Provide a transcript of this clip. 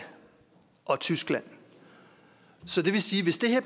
og tyskland så det vil sige at hvis det her